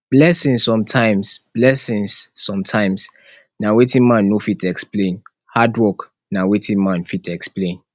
blessings sometimes blessings sometimes na wetin man no fit explain hard work na wetin man fit explain